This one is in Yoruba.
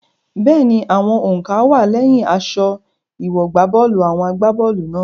Bẹ́ẹ̀ni, àwọn òǹkà wá á lẹ́yìn aṣọ ìwọ̀gbábọ́ọ̀lù àwọn agbá bọ́ọ̀lù náà.